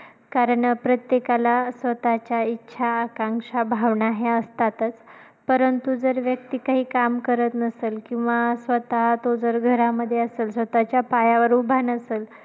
कारण प्रत्येकाला स्वतःच्या इच्छा, आकांक्षा, भावना ह्या असतातच. परंतु जर व्यक्ति काही काम करत नसेल किंवा स्वतः तो जर घरामध्ये असेल, स्वतःच्या पायावर उभा नसेल